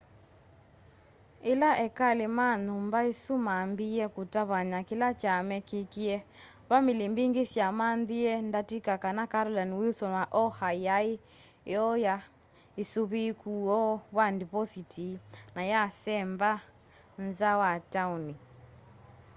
ila ekali ma nyumba isu mambiie kutavany'a kila kya mekîkîie vamili mbingi syamanyie ndatika kana carolyn wilson wa oha yaai iooya usuviiku woo wa ndipositi na yasemba nza wa tauni